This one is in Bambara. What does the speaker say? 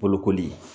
Bolokoli